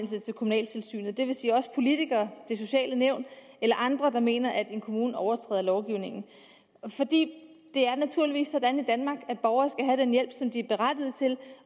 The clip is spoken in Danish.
kommunaltilsynet det vil sige også politikere det sociale nævn eller andre der mener at en kommune overtræder lovgivningen det er naturligvis sådan i danmark at borgere skal have den hjælp som de er berettiget til